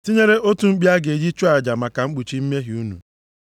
Tinyere otu mkpi a ga-eji chụọ aja maka mkpuchi mmehie unu.